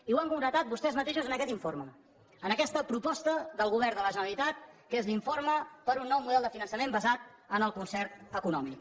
i ho han concretat vostès mateixos en aquest informe en aquesta proposta del govern de la generalitat que és l’informe per a un nou model de finançament basat en el concert econòmic